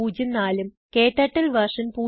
ഉം ക്ടർട്ടിൽ വെർഷൻ